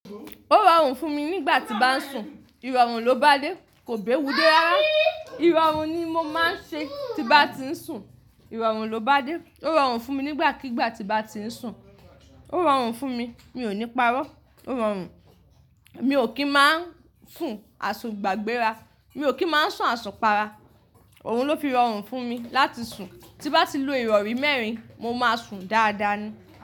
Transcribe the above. Ó rọrùn fún mi nígbà tí bá ń sùn, ìrọ̀rùn ló bá dé, kò bá ewu dé rárá. Ìrọ̀rùn ni mo máa ń ṣe tí bá ti ń sùn, ìrọ̀rùn ló bá dé. Ó rọrùn fún mi nígbàkígbà tí bá ti ń sùn. Ó rọrùn fún mi, mi ò ní parọ́. Ó rọrùn. Mi ò kí ń máa ń sùn àsùn gbàgbéra. Mi ò kí ń máa ń sùn àsùn para. Òun ló fi rọrùn fún mi láti sùn. Tí mo bá ti lu ìrọ̀rí mẹ́rin, mo máa sùn dáadáa ni.